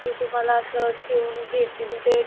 कि तुम्हाला असं ठेवून घेतील ते,